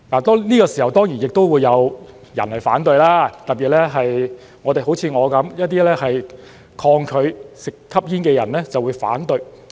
這時候，當然亦會有人反對，特別是像我般一些抗拒吸煙的人就會反對。